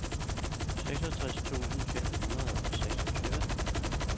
syvogtres tusind fem hundrede og seksogtyve